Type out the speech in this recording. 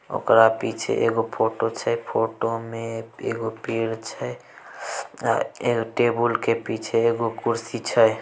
ओकरा पीछे एगो फोटो छै फोटो में एगो पेड़ छै एगो टेबुल के पीछे एगो कुर्सी छै।